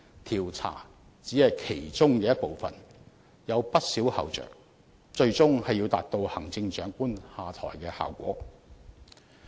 調查只是其中一部分，除此還有有不少後着，最終是要達到行政長官下台的效果。